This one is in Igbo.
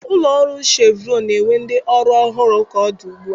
Ụlọ ọrụ shevrọn na-ewe ndị ọrụ ọhụrụ ka ọ dị ugbu a.